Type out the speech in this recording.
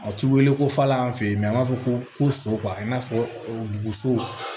A ti weele ko falen an fe yen an b'a fɔ ko ko so i n'a fɔ buguso